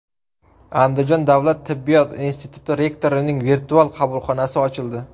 Andijon davlat tibbiyot instituti rektorining virtual qabulxonasi ochildi.